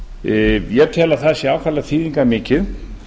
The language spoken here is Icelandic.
löggjafarvalds ég tel að það sé ákaflega þýðingarmikið